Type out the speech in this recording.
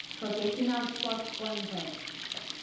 professional sport sponsors